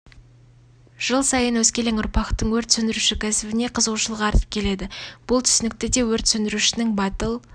жыл сайын өскелең ұрпақтың өрт сөндіруші кәсібіне қызығушылығы артып келеді бұл түсінікті де өрт сөндірушінің батыл